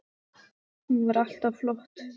Hún var alltaf flott.